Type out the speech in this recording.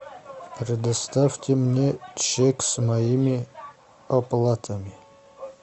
предоставьте мне чек с моими оплатами